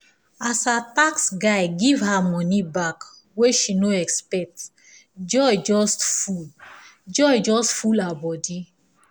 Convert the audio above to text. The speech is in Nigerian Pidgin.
as her tax guy give her money back wey she no expect joy just full joy just full her body